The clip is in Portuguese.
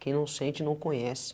Quem não sente, não conhece.